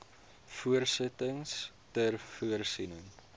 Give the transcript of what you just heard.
besittings ter voorsiening